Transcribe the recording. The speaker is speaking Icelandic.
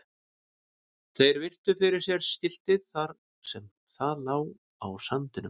Þeir virtu fyrir sér skiltið þar sem það lá á sandinum.